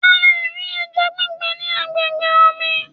A lè rí ẹja gbígbẹ ní agbègbè omi.